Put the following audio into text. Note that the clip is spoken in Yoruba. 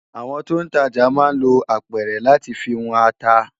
Awòn tó n tàjá má n ló ápèrè làtí fi wòn àtá